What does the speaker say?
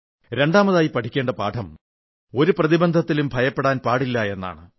രണ്ടാമതായി പഠിക്കേണ്ട പാഠം ഒരു പ്രതിബന്ധത്തിലും ഭയപ്പെടാൻ പാടില്ല എന്നതാണ്